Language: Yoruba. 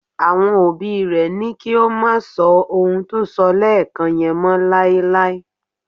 Àwọn òbí rẹ̀ ní kó má sọ ohun tó sọ lẹ́ẹ́ẹ̀kàn yẹn mọ́ láéláé.